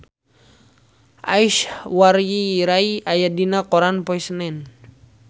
Aishwarya Rai aya dina koran poe Senen